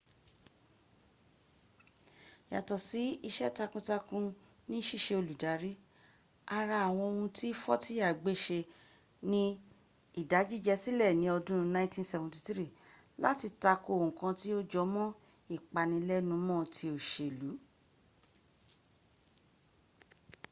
yàtọ̀ ise takun takun ni ṣíṣe olùdarí ara àwọn ohun tí fọ́tíyà gbéṣe ni ìdájíjẹsílẹ̀ ní ọdún 1973 láti takò nkan tí ó jọmọ́ ìpanilẹ́numọ́ ti òṣèl